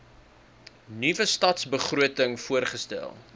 nuwe stadsbegroting voorgestel